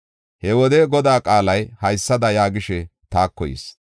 He wode Godaa qaalay, haysada yaagishe taako yis: